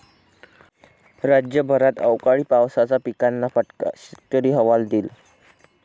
राज्यभरात अवकाळी पावसाचा पिकांना फटका, शेतकरी हवालदिल